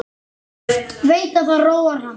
Veit að það róar hann.